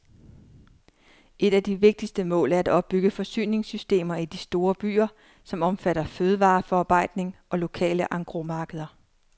Et af de vigtigste mål er at opbygge forsyningssystemer i de store byer, som omfatter fødevareforarbejdning og lokale engrosmarkeder.